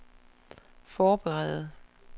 forberede